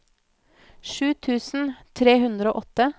sju tusen tre hundre og åtte